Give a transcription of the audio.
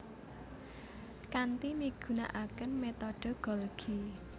Kanthi migunakaken metode Golgi